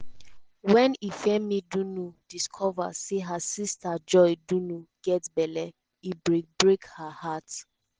wen ifiemi dunu discover say her sister joy dunu get belle e break break her heart.